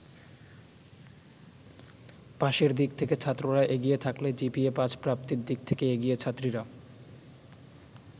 পাসের দিক থেকে ছাত্ররা এগিয়ে থাকলে জিপিএ-৫ প্রাপ্তির দিক থেকে এগিয়ে ছাত্রীরা।